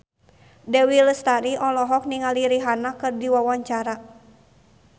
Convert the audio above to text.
Dewi Lestari olohok ningali Rihanna keur diwawancara